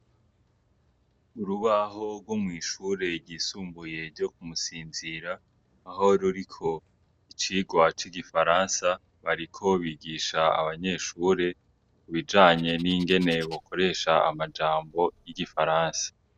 Urubaho rwo mw'ishure ryisumbuye ryo ku Musinzira aho ruriko icigwa c'igifaransa, bariko bigisha abanyeshure ibijanye n'ingene bokoresha amajambo y'igifaransa.